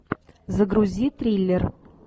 загрузи триллер